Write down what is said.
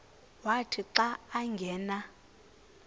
wathi xa angena